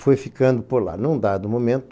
Fui ficando por lá, num dado momento,